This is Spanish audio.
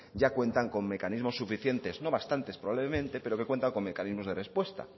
ya cuentan con mecanismos suficientes no bastantes probablemente pero que cuentan con mecanismos de respuesta